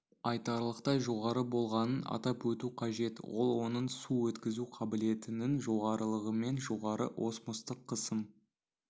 айтарлықтай жоғары болғанын атап өту қажет ол оның су өткізу қабілетінің жоғарылығымен жоғары осмостық қысым